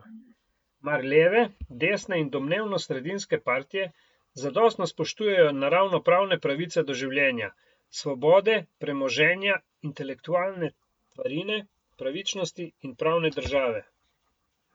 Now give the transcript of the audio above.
Mar leve, desne in domnevno sredinske partije zadostno spoštujejo naravnopravne pravice do življenja, svobode, premoženja, intelektualne tvarine, pravičnosti in pravne države?